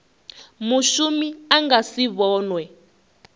mushumi a nga si vhonwe